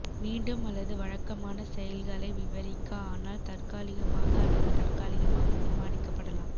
மீண்டும் அல்லது வழக்கமான செயல்களை விவரிக்க ஆனால் தற்காலிகமாக அல்லது தற்காலிகமாக தீர்மானிக்கப்படலாம்